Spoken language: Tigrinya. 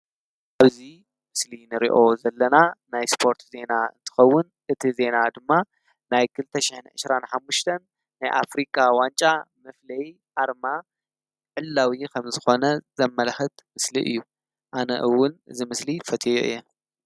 ኣብዙይ ስሊ ንርዮ ዘለና ናይ ስጶርት ዜና እትኸውን እቲ ዜና ድማ ናይ ክልተሽሕኒ እሽራን ኃሙሽተን ናይ ኣፍሪካ ዋንጫ ምፍለይ ኣርማ ዕላው ኸም ዝኾነ ዘመልኽት ምስሊ እዩ ኣነእውን ዝምስሊ ፈቴዮ እየ::